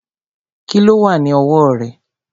Kíló wà ní ọwọ́ rẹ̀?